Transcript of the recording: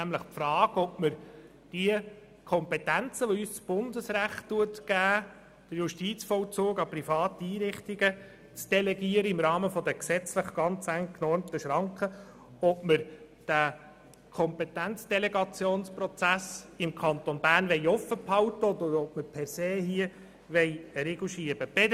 Es geht nämlich um die Frage, ob wir bei der Kompetenz, die uns das Bundesrecht gibt, den Justizvollzug im Rahmen der gesetzlich ganz eng genormten Schranken an private Einrichtungen delegieren und den Kompetenzdelegationsprozess im Kanton Bern offen halten wollen oder ob wir hier per se einen Riegel schieben wollen.